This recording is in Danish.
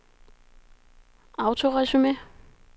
autoresume